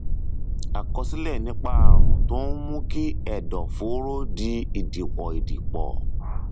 àkọsílẹ nípa ààrùn tó ń mú kí ẹdọfóró di ìdìpọ ìdìpọ